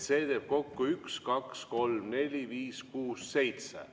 See teeb kokku üks-kaks-kolm-neli-viis-kuus-seitse.